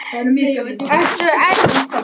Ertu enn að mála á fullu?